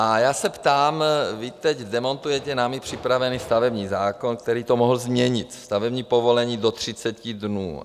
A já se ptám: vy teď demontujete námi připravený stavební zákon, který to mohl změnit - stavební povolení do 30 dnů.